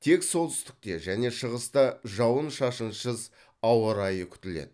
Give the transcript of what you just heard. тек солтүстікте және шығыста жауын шашынсыз ауа райы күтіледі